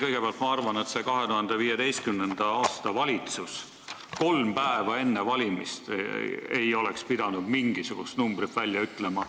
Kõigepealt, ma arvan, et 2015. aastal ei oleks valitsus kolm päeva enne valimisi pidanud mingisugust numbrit välja ütlema.